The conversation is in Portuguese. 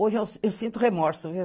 Hoje eu sinto remorso, viu?